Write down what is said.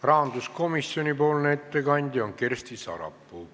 Rahanduskomisjoni ettekandja on Kersti Sarapuu.